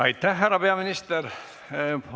Aitäh, härra peaminister!